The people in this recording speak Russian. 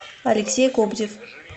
алексей кобзев